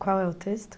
Qual é o texto?